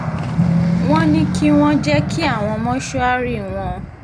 wọ́n ní kí wọ́n jẹ́ kí àwọn wọ̀ mọ́ṣúárì wọn